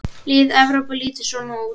Lið Evrópu lítur svona út